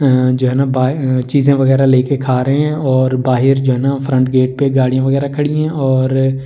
अ अ जो है ना बाहर चीजे वगेरह लेके खा रहे है और बाहर जो है ना फ्रंट गेट पर गाड़िया वगेरह खड़ी है और --